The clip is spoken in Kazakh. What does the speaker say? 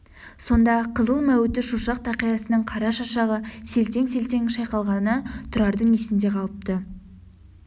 сонда қызыл мәуіті шошақ тақиясының қара шашағы селтең-селтең шайқалғаны тұрардың есінде қалыпты